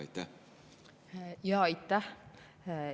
Aitäh!